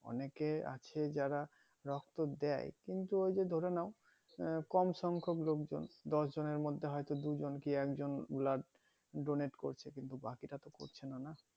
অনেকে আছে যারা রক্ত দেয় কিন্তু ওই যে ধরে নাও আহ কমসম খুব লোকজন দশ জনের মধ্যে হয়তো দুইজন কি একজন blood করছে কিন্তু বাকিরা তো করছেনা না